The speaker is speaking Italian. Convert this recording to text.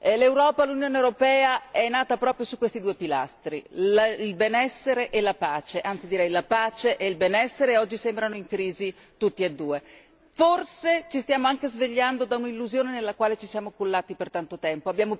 L'Europa, l'Unione europea, è nata proprio su questi due pilastri, il benessere e la pace, anzi direi la pace e il benessere, e oggi sembrano in crisi entrambi. Forse ci stiamo anche svegliando da un'illusione nella quale ci siamo cullati per tanto tempo.